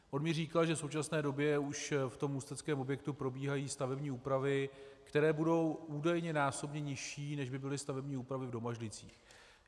On mi říkal, že v současné době už v tom ústeckém objektu probíhají stavební úpravy, které budou údajně násobně nižší, než by byly stavební úpravy v Domažlicích.